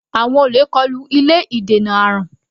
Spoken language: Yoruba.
Àwọn olè kọlu ilé ìdènà àrùn.